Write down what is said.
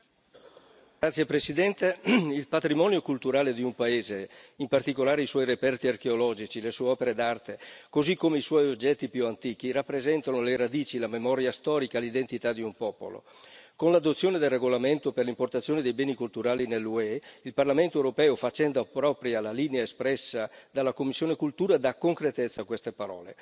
Signor Presidente, onorevoli colleghi, il patrimonio culturale di un paese, in particolare i suoi reperti archeologici, le sue opere d'arte così come i suoi oggetti più antichi, rappresentano le radici, la memoria storica, l'identità di un popolo. Con l'adozione del regolamento relativo all'importazione dei beni culturali nell'UE il Parlamento europeo, facendo propria la linea espressa dalla commissione CULT, dà concretezza a queste parole.